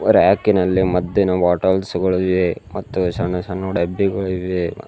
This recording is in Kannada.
ರ್ಯಾಕಿನಲ್ಲಿ ಮದ್ದಿನ ಬಾಟಲ್ಸ್ ಗಳು ಇವೆ ಮತ್ತು ಸಣ್ಣ ಸಣ್ಣ ಡಬ್ಬಿಗಳು ಇವೆ.